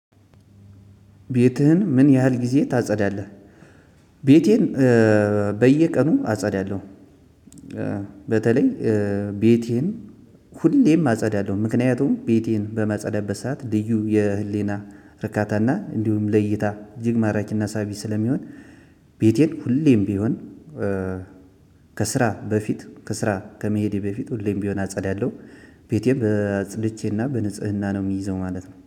ቤትህን ምን ያህል ጊዜ ታጸዳለህ? ቤቴን በየቀኑ አጸዳለሁ። በተለይ ቤቴን ሁሌም አጸዳለሁ ምክንያቱም ቤቴን በመጸደብ በሰአት ልዩ የህሊና እርካታና እንዲሁም ለይታ እጅግ ማራኪና ሳቢ ስለሚሆን። ቤቴን ሁሌም ቢሆን። ከስራ በፊት ከስራ ከመሄዴ በፊት ሁሌም ቢሆን አጸዳለሁ። ቤቴም በጽድቼና በንጽህና ነው የሚይዘው ማለት ነው